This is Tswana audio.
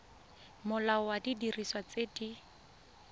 molao wa didiriswa tse di